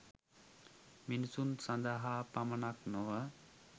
මිනිසුන් සඳහා පමණක් නොව